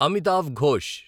Amitav Ghosh